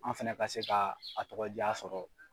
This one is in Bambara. An fɛnɛ ka se ka a tɔgɔ jaa sɔrɔ.